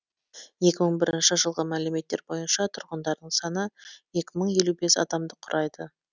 екі мың бірінші жылғы мәліметтер бойынша тұрғындарының саны екі мың елу бес адамды құрайды